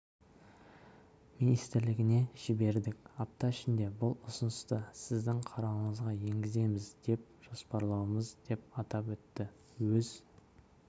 министрлігіне жібердік апта ішінде бұл ұсынысты сіздің қарауыңызға енгіземіз деп жоспарлаудамыз деп атап өтті өз